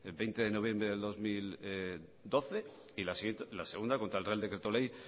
veinte de noviembre del dos mil doce y la segunda contra el real decreto ley